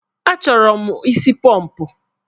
Achọrọ mụ isi pọmpụ.